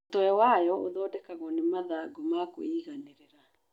Mũtwe wa wayo ũthondekagwo nĩ mathangũ makwĩiganĩrĩra.